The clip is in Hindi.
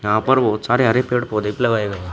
यहां पर बहोत सारे हरे पेड़ पौधे भी लगाए गए हैं।